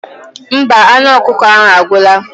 Mba, anụ ọkụkọ ahụ agwụla.